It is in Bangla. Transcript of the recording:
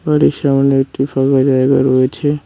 বাড়ির সামনে একটি ফাঁকা জায়গা রয়েছে।